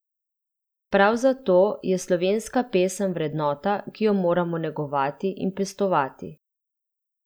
Prav zato je slovenska pesem vrednota, ki jo moramo negovati in pestovati.